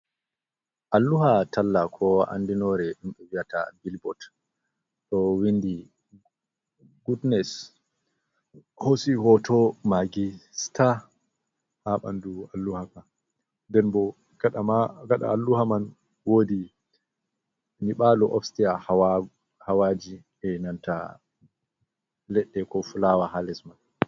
Alluha talla koo andinoore biyataa bilbot, ɗo windi gudnes, hoosi hooto Maagi sitaa ha ɓandu alluha ka. Den bo kaɗa alluha man woodi nyiɓaalo ofsiteya hawaaji enanta leɗɗe ko fulawa ha les man.